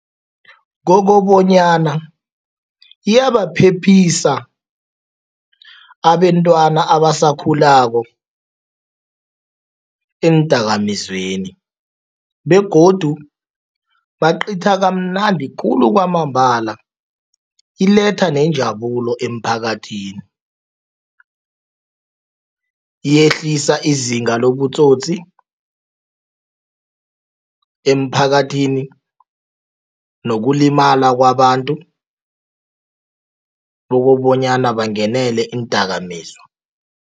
Kokobanyana iyabaphephisa abentwana abasakhulako eendakamizweni begodu baqitha kamnandi khulu kwamambala, iletha nenjabulo emphakathini. Yehlisa izinga lobutsotsi emphakathini nokulimala kwabantu bokobonyana bangenele iindakamizwa.